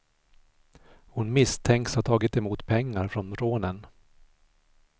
Hon misstänks ha tagit emot pengar från rånen.